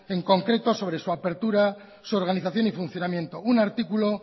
en concreto sobre su apertura su organización y funcionamiento un artículo